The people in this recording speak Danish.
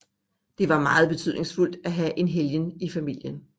Det var meget betydningsfuldt at have en helgen i familien